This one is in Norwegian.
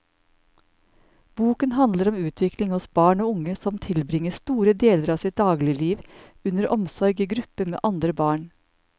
Boken handler om utvikling hos barn og unge som tilbringer store deler av sitt dagligliv under omsorg i gruppe med andre barn.